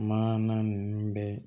Maana ninnu bɛɛ